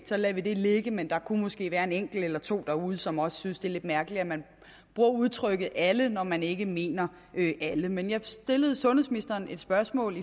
så lader vi det ligge men der kunne måske være en enkelt eller to derude som også synes det er lidt mærkeligt at man bruger udtrykket alle når man ikke mener alle men jeg stillede sundhedsministeren et spørgsmål